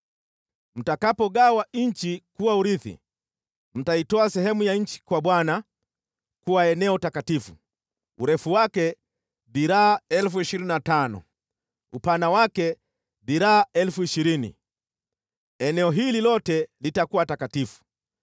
“ ‘Mtakapogawa nchi kuwa urithi, mtaitoa sehemu ya nchi kwa Bwana kuwa eneo takatifu, urefu wake dhiraa 25,000, upana wake dhiraa 20,000 eneo hili lote litakuwa takatifu.